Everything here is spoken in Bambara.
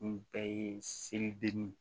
Nin bɛɛ ye seli deni ye